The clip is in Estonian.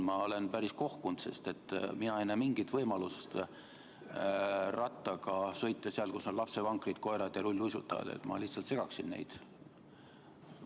Ma olen päris kohkunud, sest mina ei näe mingit võimalust rattaga sõita seal, kus on lapsevankrid, koerad ja rulluisutajad – ma lihtsalt segaksin neid.